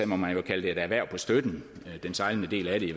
må man kalde det et erhverv på støtten i den sejlende del af det